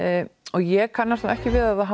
og ég kannast ekki við að það